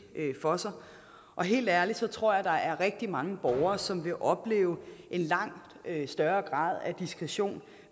for sig og helt ærligt tror jeg at der er rigtig mange borgere som vil opleve en langt større grad af diskretion